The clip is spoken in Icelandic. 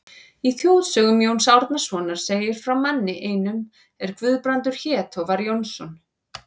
Í þjóðsögum Jóns Árnasonar segir frá manni einum er Guðbrandur hét og var Jónsson.